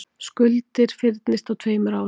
Skuldir fyrnist á tveimur árum